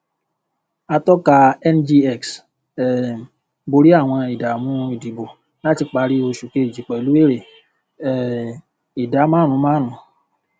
atọka ngx um bọrí àwọn ìdààmú ìdìbò láti parí oṣù kejì pẹlú èrè um ìdá márùnún márùnún